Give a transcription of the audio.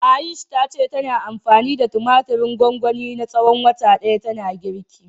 Ayush ta ce tana anfani da tumatirin gwangwani na tsawon wata ɗaya tana girki.